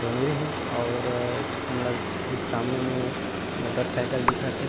डोंगरी हे और मतलब की सामने मे मोटरसाइकिल दिखत हे।